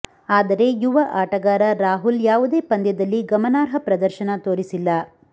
ಆದರೆ ಯುವ ಆಟಗಾರ ರಾಹುಲ್ ಯಾವುದೇ ಪಂದ್ಯದಲ್ಲಿ ಗಮನಾರ್ಹ ಪ್ರದರ್ಶನ ತೋರಿಸಿಲ್ಲ